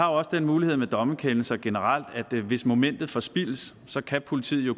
også den mulighed med dommerkendelser generelt at hvis momentet forspildes så kan politiet jo